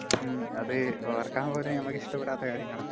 അതെ, ഓർക്കാൻ പോലും നമുക്ക് ഇഷ്ടപ്പെടാത്ത കാര്യങ്ങളാ...